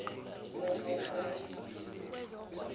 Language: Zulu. ko ko ko